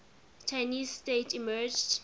chinese state emerged